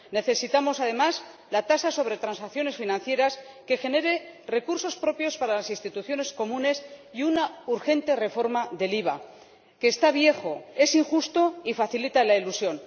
Necesitamos, además, la tasa sobre transacciones financieras que genere recursos propios para las instituciones comunes, y una urgente reforma del IVA, que está viejo, es injusto y facilita la elusión.